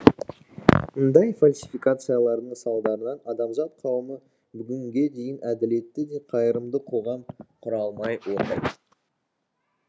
мұндай фальсификациялардың салдарынан адамзат қауымы бүгінге дейін әділетті де қайырымды қоғам құра алмай отыр